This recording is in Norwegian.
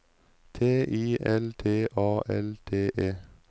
T I L T A L T E